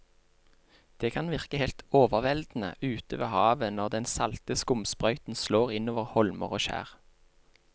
Det kan virke helt overveldende ute ved havet når den salte skumsprøyten slår innover holmer og skjær.